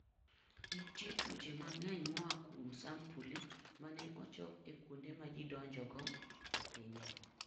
Nitie tuoche mang'eny moa kuom sampuli ma ne ochok e kuonde ma ji donjogo e pinyno.